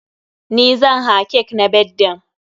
NI zan haa cake na birthdayn.